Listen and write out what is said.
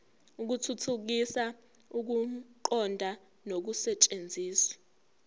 ukuthuthukisa ukuqonda nokusetshenziswa